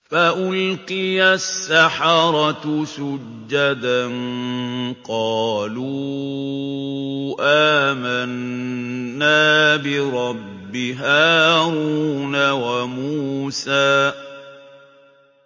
فَأُلْقِيَ السَّحَرَةُ سُجَّدًا قَالُوا آمَنَّا بِرَبِّ هَارُونَ وَمُوسَىٰ